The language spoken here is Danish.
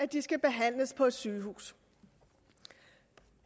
de skal behandles på et sygehus